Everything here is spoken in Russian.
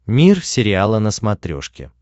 мир сериала на смотрешке